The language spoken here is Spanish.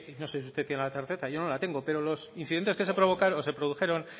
no sé si usted tiene la certeza yo no la tengo pero los incidentes que se produjeron